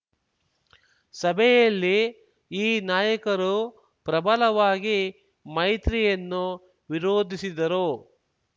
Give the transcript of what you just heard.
ಸಭೆಯಲ್ಲಿ ಈ ನಾಯಕರು ಪ್ರಬಲವಾಗಿ ಮೈತ್ರಿಯನ್ನು ವಿರೋಧಿಸಿದರು